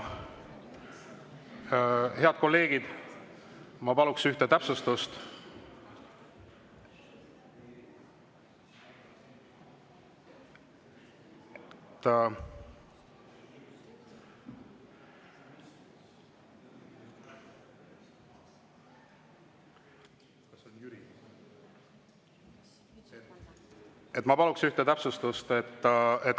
Head kolleegid, ma teen ühe täpsustuse.